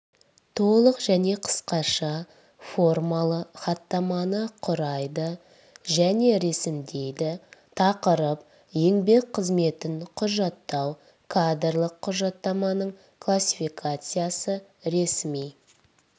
толық және қысқаша формалы хаттаманы құрайды және ресімдейді тақырып еңбек қызметін құжаттау кадрлық құжаттаманың классификациясы ресми